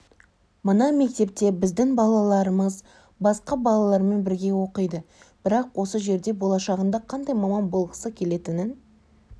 мына мектепте біздің балаларымыз басқа балалармен бірге оқиды бірақ осы жерде болашағында қандай маман болғысы келетінін